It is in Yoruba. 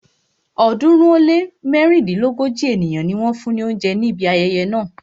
ọ̀ọ́dúnrún ó lé mẹ́rìndínlógójì ènìyàn ni wọ́n fún ni oúnjẹ ní ibi ayẹyẹ náà.